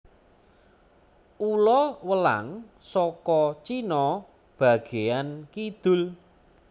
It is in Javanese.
Ula welang saka Cina bagéyaan kidul